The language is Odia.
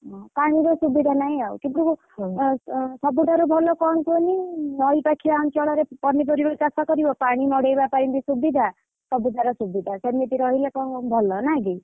ହୁଁ ପାଣିର ସୁବିଧା ନାହିଁ ଆଉ କିନ୍ତୁ ଏଁ ସବୁଠାରୁ ଭଲ କଣ କୁହନି ନଈ ପାଖିଆ ଅଞ୍ଚଳରେ ପନିପରିବା ଚାଷ କରିବ ପାଣି ମଡେଇବା ପାଇଁ ବି ସୁବିଧା। ସବୁଥେରେ ସୁବିଧା ସେମିତି ରହିଲେ କଣ ଭଲ ନା କି?